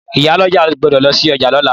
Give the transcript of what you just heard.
Ìyálọ́jà gbódò lọsí ọjà lóla